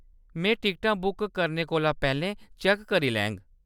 में टिकटां बुक करने कोला पैह्‌‌‌लें चैक्क करी लैङ।